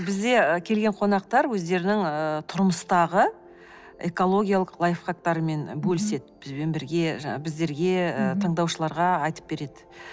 бізде ы келген қонақтар өздерінің ыыы тұрмыстағы экологиялық лайфхактарымен ы бөліседі бізбен бірге жаңағы біздерге ы тыңдаушыларға айтып береді